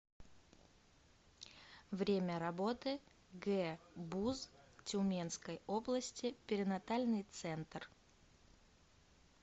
время работы гбуз тюменской области перинатальный центр